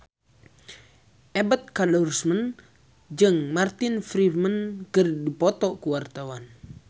Ebet Kadarusman jeung Martin Freeman keur dipoto ku wartawan